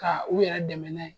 Ka u yɛrɛ dɛmɛ n'a ye.